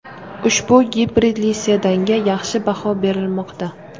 Ushbu gibridli sedanga yaxshi baho berilmoqda.